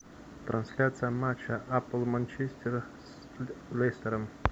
трансляция матча апл манчестера с лестером